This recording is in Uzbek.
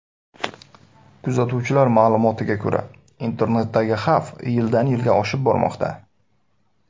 Kuzatuvchilar ma’lumotlariga ko‘ra, internetdagi xavf yildan-yilga oshib bormoqda.